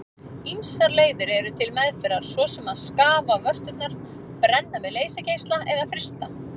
Ýmsar leiðir eru til meðferðar svo sem að skafa vörturnar, brenna með leysigeisla eða frysta.